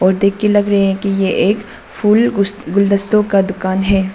और देख कर लग रहे है कि ये एक फूल गुस् गुलदस्तों का दुकान है।